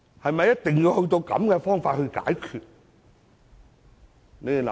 是否一定要以這種方法解決問題？